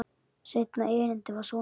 Seinna erindið var svona: